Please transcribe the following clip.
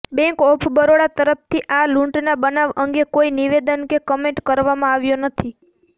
bank of Baroda તરફથી આ લૂંટના બનાવ અંગે કોઈ નિવેદન કે કમેન્ટ કરવામાં આવ્યા નથી